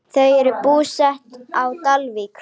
Þau eru búsett á Dalvík.